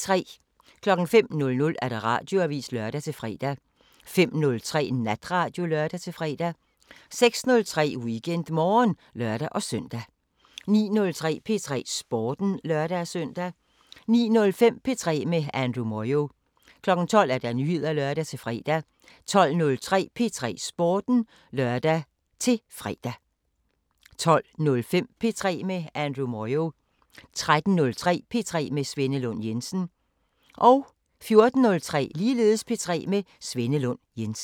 05:00: Radioavisen (lør-fre) 05:03: Natradio (lør-fre) 06:03: WeekendMorgen (lør-søn) 09:03: P3 Sporten (lør-søn) 09:05: P3 med Andrew Moyo 12:00: Nyheder (lør-fre) 12:03: P3 Sporten (lør-fre) 12:05: P3 med Andrew Moyo 13:03: P3 med Svenne Lund Jensen 14:03: P3 med Svenne Lund Jensen